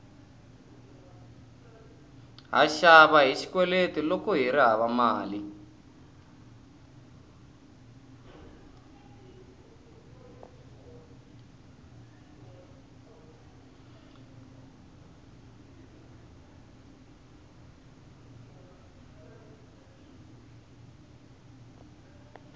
ha xava hi xikweleti loko kuri hava mali